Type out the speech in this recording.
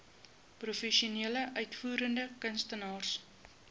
professionele uitvoerende kunstenaars